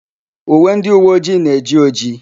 Uwe ndịuweojii na-eji ojii.